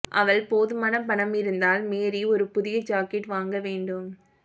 அவள் போதுமான பணம் இருந்தால் மேரி ஒரு புதிய ஜாக்கெட் வாங்க வேண்டும்